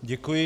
Děkuji.